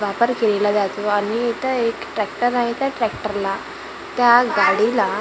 वापर केलेला जातो आणि इथं एक ट्रॅक्टर आहे त्या ट्रॅक्टरला त्या गाडीला हि--